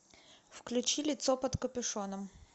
включи лицо под капюшоном